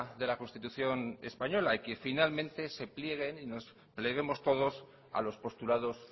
de la constitución española y que finalmente se plieguen y nos pleguemos todos a los postulados